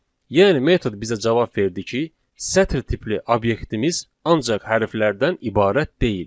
Yəni metod bizə cavab verdi ki, sətir tipli obyektimiz ancaq hərflərdən ibarət deyil.